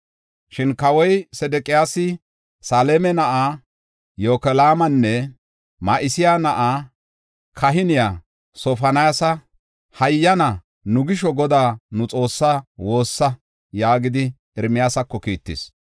Shin kawoy Sedeqiyaasi Selema na7aa Yokaalanne Ma7iseya na7aa kahiniya Sofoniyaasa, “Hayyana, nu gisho Godaa nu Xoossaa woossa” yaagidi Ermiyaasako kiittis.